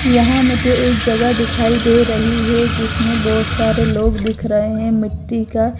यहां मुझे एक जगह दिखाई दे रही है जिसमें बहोत सारे लोग दिख रहे हैं मिट्टी का--